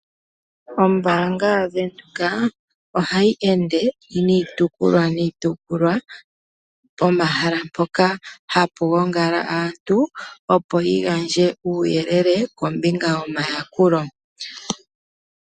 Ombaanga yaVenduka ohayi ende niitukulwa niitukulwa pomahala mpoka hapu gongala aantu opo yigandje uuyelele kombinga yomaakulo.